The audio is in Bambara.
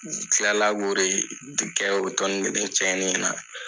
U kilala ko de kɛ o kelen tiɲɛnen na.